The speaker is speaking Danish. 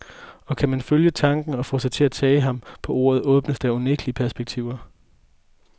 Og kan man følge tanken og få sig til at tage ham på ordet, åbnes der unægtelig perspektiver.